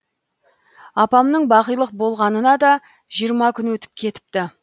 апамның бақилық болғанына да жиырма күн өтіп кетіпті